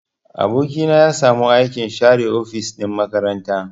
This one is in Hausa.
Aboki na ya samu aikin share ofis ɗin makaranta.